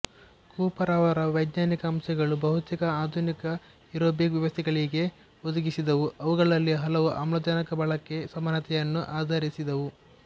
Cooper ಅವರ ವೈಜ್ಞಾನಿಕ ಅಂಶಗಳು ಬಹುತೇಕ ಆಧುನಿಕ ಏರೋಬಿಕ್ ವ್ಯವಸ್ಥೆಗಳಿಗೆ ಒದಗಿಸಿದವು ಅವುಗಳಲ್ಲಿ ಹಲವು ಆಮ್ಲಜನಕಬಳಕೆ ಸಮಾನತೆಯನ್ನು ಆಧರಿಸಿದ್ದವು